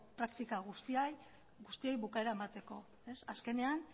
praktika guztiei bukaera emateko azkenean